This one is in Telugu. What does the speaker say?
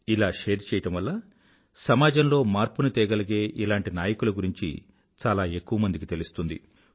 ఇలా షేర్ చేయడం వల్ల సమాజంలో మార్పుని తేగలిగే ఇలాంటి నాయకుల గురించి చాలా ఎక్కువ మందికి తెలుస్తుంది